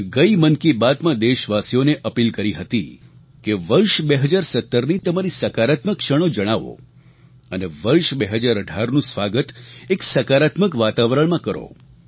મેં ગઈ મન કી બાતમાં દેશવાસીઓને અપીલ કરી હતી કે વર્ષ 2017ની તમારી સકારાત્મક ક્ષણો જણાવો અને વર્ષ 2018નું સ્વાગત એક સકારાત્મક વાતાવરણમાં કરો